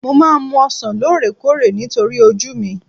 Mo máa ń mu ọsàn lóore kóòrè nítorí ojú mi